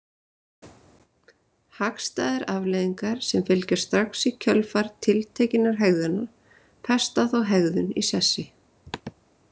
Hagstæðar afleiðingar sem fylgja strax í kjölfar tiltekinnar hegðunar festa þá hegðun í sessi.